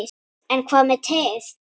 En hvað með teið?